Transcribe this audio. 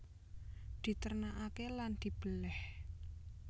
Diternakaké lan dibelèh